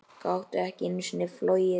Gátu ekki einu sinni flogið.